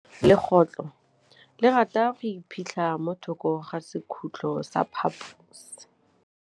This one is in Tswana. Legôtlô le rata go iphitlha mo thokô ga sekhutlo sa phaposi.